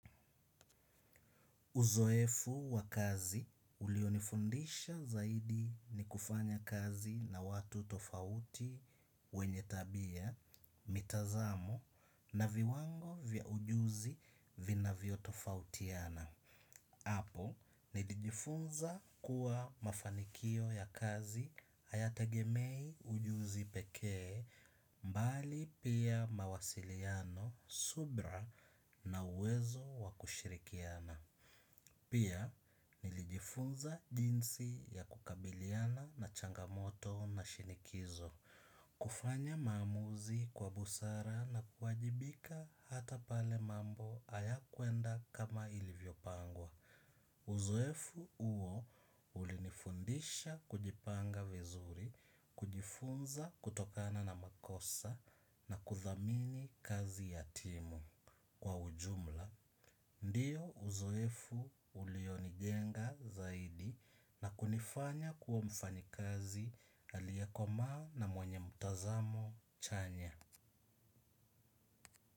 Uzoefu wa kazi ulionifundisha zaidi ni kufanya kazi na watu tofauti wenye tabia, mitazamo na viwango vya ujuzi vinavyotofautiana. Hapo, nilijifunza kuwa mafanikio ya kazi hayategemei ujuzi pekee bali pia mawasiliano subira na uwezo wa kushirikiana. Pia nilijifunza jinsi ya kukabiliana na changamoto na shinikizo. Kufanya maamuzi kwa busara na kuwajibika hata pale mambo hayakuenda kama ilivyopangwa. Uzoefu huo ulinifundisha kujipanga vizuri kujifunza kutokana na makosa na kudhamini kazi ya timu kwa ujumla ndio uzoefu ulionijenga zaidi na kunifanya kuwa mfanyikazi aliyekomaa na mwenye mtazamo chanya.